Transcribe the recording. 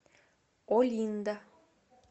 олинда